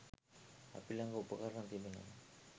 අපි ළඟ උපකරණ තිබෙනවා.